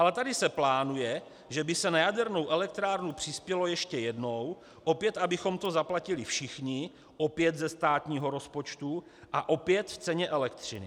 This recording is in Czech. Ale tady se plánuje, že by se na jadernou elektrárnu přispělo ještě jednou, opět abychom to zaplatili všichni, opět ze státního rozpočtu a opět v ceně elektřiny.